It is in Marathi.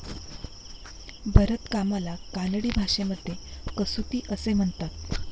भरतकामाला कानडी भाषेमध्ये कसुती असे म्हणतात.